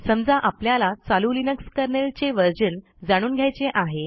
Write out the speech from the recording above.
समजा आपल्याला चालू लिनक्स kernelचे व्हर्शन जाणून घ्यायचे आहे